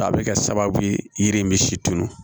A bɛ kɛ sababu yiri in bɛ si tununi